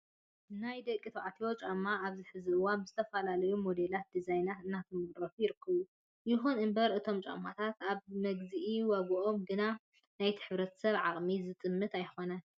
ናይ ደቂ ተባዕትዮም ጫማታት ኣብዚ ሕዚ እዋን ብዝተፋለለዩ ሞዴላትን ድዛይናት እናተመረቱ ይርከቡ። ይኹን እምበር እቶም ጫማውቲ ኣብ መግዝኢ ዋግኦም ግና ናይቲ ሕብረተሰብ ኣቅሚ ዝምጥን ኣይኾነን።